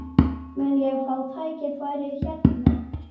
Mun ég fá tækifæri hérna?